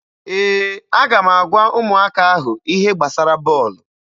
Ee, aga m agwa ụmụaka ahụ ihe gbasara bọọlụ.